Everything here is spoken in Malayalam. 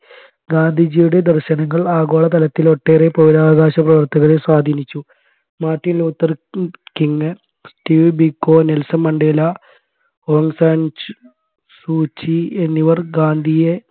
ഗാന്ധിജിയുടെ ദർശനങ്ങൾ ആഗോളതലത്തിൽ ഒട്ടേറെ പൗരാവകാശ പ്രവർത്തകരെ സ്വാധിനിച്ചു മാർട്ടിൻ ലൂഥർ ഉം King Steve Biko Nelson Mandela Aung San സ് സൂചി എന്നിവർ ഗാന്ധിയെ